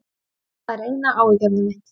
Það er eina áhyggjuefni mitt.